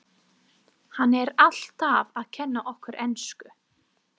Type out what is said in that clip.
Hann er alltaf að kenna okkur ensku!